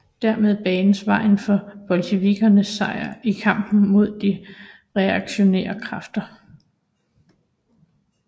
Dermed banedes vejen for bolsjevikkernes sejr i kampen mod de reaktionære kræfter